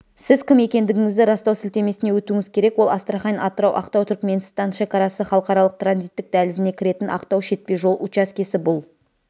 сіз кім екендігіңізді растау сілтемесіне өтуіңіз керек ол астрахань-атырау-ақтау-түркіменстан шекарасы халықаралық транзиттік дәлізіне кіретін ақтау шетпе жол учаскесі бұл